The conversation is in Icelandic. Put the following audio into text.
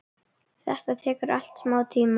Þetta tekur allt smá tíma.